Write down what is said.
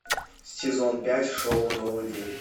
сезон пять шоу новый день